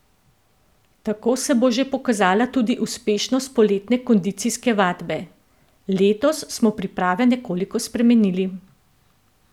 Tako se bo že pokazala tudi uspešnost poletne kondicijske vadbe: "Letos smo priprave nekoliko spremenili.